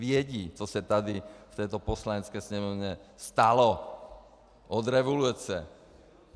Vědí, co se tady v této Poslanecké sněmovně stalo od revoluce.